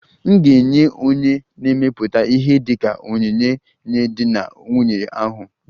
M ga-enye onye na-emepụta ihe dị ka onyinye nye di na nwunye ahụ